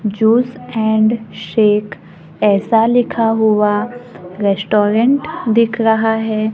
Juice and shake ऐसा लिखा हुआ रेस्टोरेंट दिख रहा है।